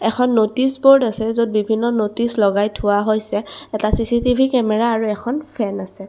এখন notice board আছে য'ত বিভিন্ন ন'টিচ লগাই থোৱা হৈছে এটা চিচিটিভি কেমেৰা আৰু এখন ফেন আছে।